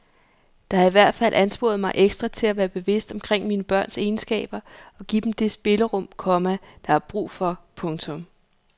Det har i hvert fald ansporet mig ekstra til at være bevidst omkring mine børns egenskaber og give dem det spillerum, komma de har brug for. punktum